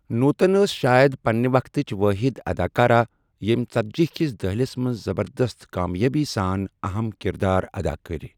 نوتن ٲس شایَد پننہِ وقتٕچ وٲحِد اداکارہ ییٚمۍ ژتجی کِس دٔہلس منٛز زبردست کامیٲبی سان اہم کردار ادا کٔرۍ۔